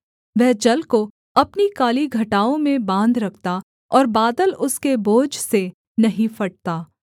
वह जल को अपनी काली घटाओं में बाँध रखता और बादल उसके बोझ से नहीं फटता